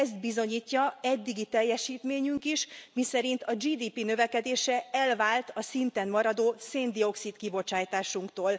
Ezt bizonyítja eddigi teljesítményünk is, miszerint a GDP növekedése elvált a szinten maradó szén dioxid kibocsátásunktól.